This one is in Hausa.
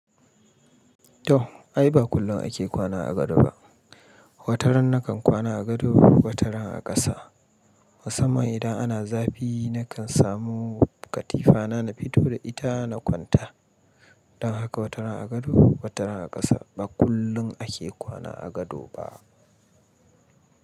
To ai ba kullum ake kwana a gado ba. Wataran na kan kwana a gado, wataran a ƙasa. Musamman idan ana zafi na kan samu katifa na, na fito da ita na kwanta. Don haka wataran a gado, wataran a ƙasa ba kullun ake kwana a gado ba.